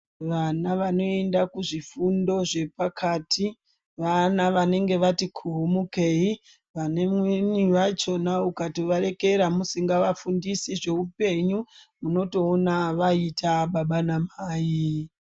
Vana vanoenda kuzvifundo zvepakati, vana vanenge vati kuumukei anweni achona jkatovaregera usingavafundisi zveupenyu unotoona vaita baba namai.